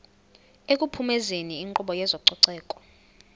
ekuphumezeni inkqubo yezococeko